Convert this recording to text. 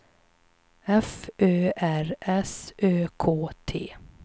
F Ö R S Ö K T